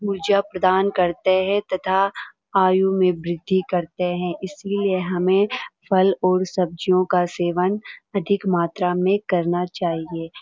ऊर्जा प्रदान करते हैं तथा आयू में वृद्धि करते हैं इसलिए हमें फल और सब्ज़ियों का सेवन अधिक मात्रा में करना चाहिए ।